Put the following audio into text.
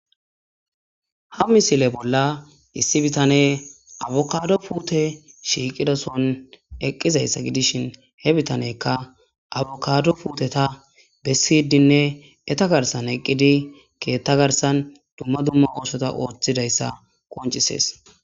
Ha misile bolla issi bitaneye apukado pute shiiqidason eqizaysa gidishin he bitaneykka apukado puteta besidinne eta garsan eqidi keta garsan dumma dumma osota otidaysa qoncisese